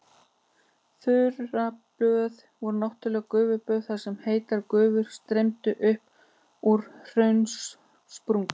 Þurraböð voru náttúrleg gufuböð þar sem heitar gufur streymdu upp úr hraunsprungum.